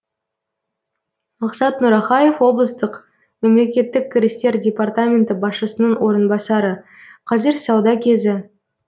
мақсат нұрахаев облыстық мемлекеттік кірістер департаменті басшысының орынбасары қазір сауда кезі